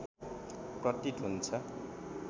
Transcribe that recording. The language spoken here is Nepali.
प्रतीत हुन्छ